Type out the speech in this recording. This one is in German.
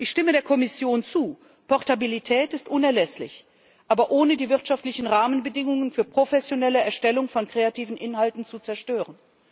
Ich stimme der Kommission zu Portabilität ist unerlässlich, aber ohne die wirtschaftlichen Rahmenbedingungen für eine professionelle Erstellung von kreativen Inhalten zu zerstören.